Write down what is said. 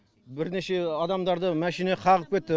бірнеше адамдарды машина қағып кетті